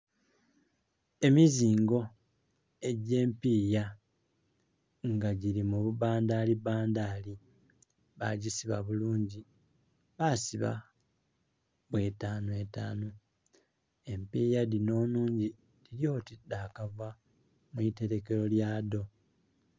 Emizingo egy'empiiya nga gili mu bubandhaalibandhaali. Bagisiba bulungi, basiba bw'etaanu etaanu. Empiiya dhinho nhungi dhili oti dha kava mu itelekelo lya dho.